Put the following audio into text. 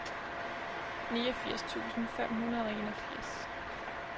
niogfirs tusind fem hundrede og enogfirs